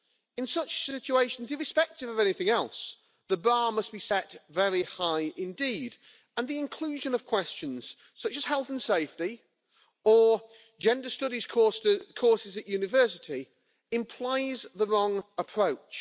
In such situations, irrespective of anything else, the bar must be set very high indeed, and the inclusion of questions such as health and safety, or gender studies courses at university, implies the wrong approach.